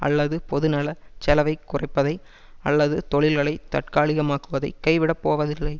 அல்லது பொதுநல செலவைக் குறைப்பதை அல்லது தொழில்களை தற்காலிகமாக்குவதை கைவிடப்போவதில்லை